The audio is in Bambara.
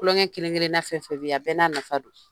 Tulonkɛ kelen-kelenna fɛn fɛn be ye a bɛɛ n'a nafa don.